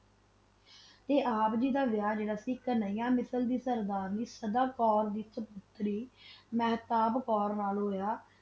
ਤਾ ਆਪ ਜੀ ਦਾ ਵਹਾ ਸੀ ਕਾਨਿਆ ਮਿਸ਼ਰ ਦੀ ਸਰਦਾਰਨੀ ਦਾ ਮਹ੍ਤਾਬ੍ਕੋਰ ਨਾਲ ਹੋਆ